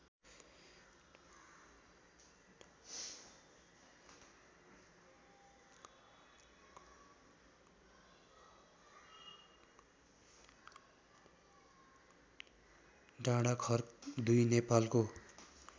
डाँडाखर्क २ नेपालको